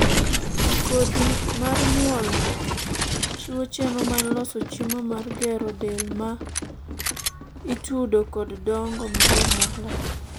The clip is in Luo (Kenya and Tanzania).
kodhi mar nyuol chiwo chenro mar loso chiemo mar gero del ma ma itudo kod dongo maber mar lak